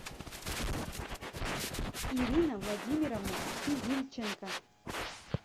ирина владимировна физильченко